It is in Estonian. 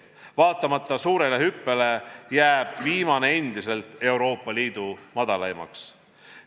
Vaatamata suurele hüppele, jääb viimane endiselt Euroopa Liidu madalaimaks.